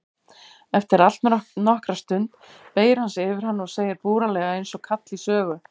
Eftir allnokkra stund beygir hann sig yfir hana og segir búralega einsog kall í sögu